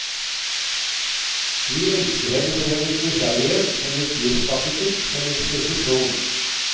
Vi elsker henne for hennes nysgjerrighet, hennes livsappetitt, hennes presisjon.